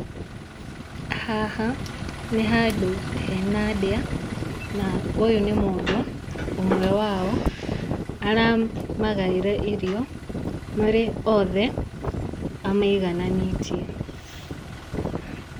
Haha nĩ handũ hena ndĩa, na ũyũ nĩ mũndũ, ũmwe wao aramagaĩra irio marĩ othe, amaigananĩtie.